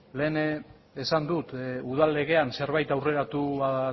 lehen esan dut udal legean zerbait aurreratua